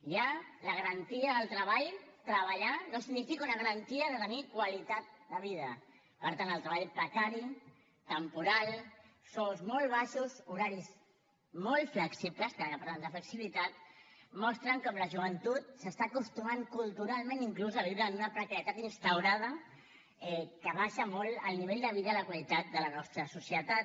ja la garantia del treball treballar no significa una garantia de tenir qualitat de vida per tant el treball precari temporal sous molt baixos horaris molt flexibles ara que parlaven de flexibilitat mostren com la joventut s’està acostumant culturalment inclús a viure en una precarietat instaurada que abaixa molt el nivell de vida i la qualitat de la nostra societat